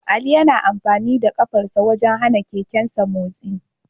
Ali yana amfani da kafarsa wajen hana keken nasa motsi